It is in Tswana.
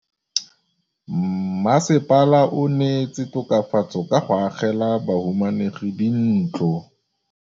Mmasepala o neetse tokafatsô ka go agela bahumanegi dintlo.